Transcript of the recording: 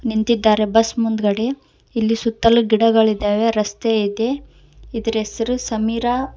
ನಿಂತಿದ್ದಾರೆ ಬಸ್ ಮುಂದಗಡೆ ಇಲ್ಲಿ ಸುತ್ತಲೂ ಗಿಡಗಳಿದಾವೆ ರಸ್ತೆ ಇದೆ ಇದ್ರ ಹೆಸರು ಸಮೀರಾ--